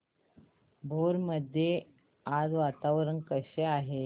भोर मध्ये आज वातावरण कसे आहे